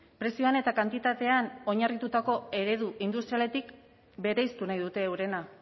prezioan eta kantitatean oinarritutako eredu industrialetik bereiztu nahi dute eurena